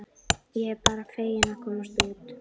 Ég er bara fegin að komast út!